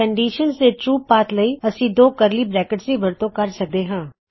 condition ਦੇ ਸਹੀ path ਲਈ ਅਸੀਂ ਦੋ ਕਰਲੀ ਬ੍ਰੈਕਿਟਸ ਦੀ ਵਰਤੋਂ ਕਰ ਸਕਦੇ ਹਾਂ